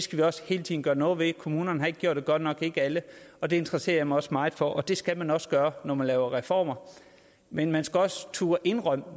skal vi også hele tiden gøre noget ved kommunerne har ikke gjort det godt nok ikke alle og det interesserer jeg mig også meget for og det skal man også gøre når man laver reformer men man skal også turde indrømme